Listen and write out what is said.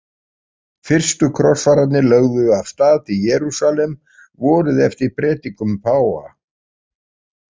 Fyrstu krossfararnir lögðu af stað til Jerúsalem vorið eftir predikun páfa.